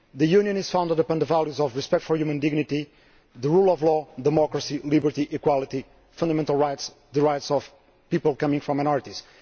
The Union is founded upon the values of respect for human dignity, the rule of law, democracy, liberty, equality, fundamental rights, and the rights of people coming from minorities.